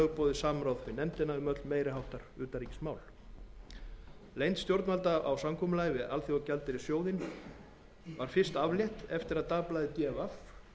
lögboðið samráð við nefndina um öll meiri háttar utanríkismál leynd stjórnvalda á samkomulaginu við alþjóðagjaldeyrissjóðinn var fyrst aflétt eftir að dagblaðið d